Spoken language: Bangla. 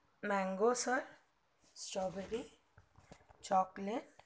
mango sir strawberry chocolate